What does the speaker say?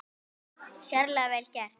Sérlega vel gert.